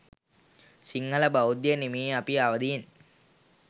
සිංහල බෞද්ධයනි මේ අපි අවදියෙන්